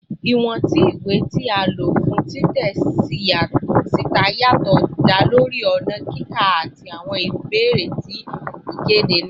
Iwọn ti iwe ti a lo fun titẹ sita yatọ da lori ọna kika ati awọn ibeere ti ikede naa